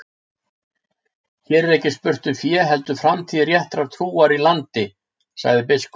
Hér er ekki spurt um fé heldur framtíð réttrar trúar í landi, sagði biskup.